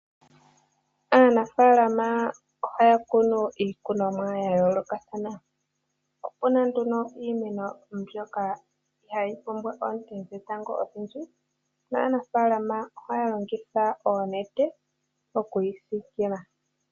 Aanafalama ohaya kunu iikunomwa yawo ya yoolokathana. Ope na nduno mbyoka ihayi pumbwa oonte dhetango odhindji na naafalama ohaya longitha ooshipe oku yi sikila.